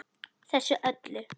Þessu öllu.